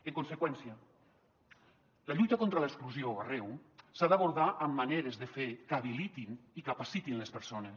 en conseqüència la lluita contra l’exclusió arreu s’ha d’abordar amb maneres de fer que habilitin i capacitin les persones